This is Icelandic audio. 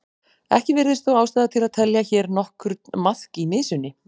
Ekki virðist þó ástæða til að telja hér nokkurn maðk í mysunni.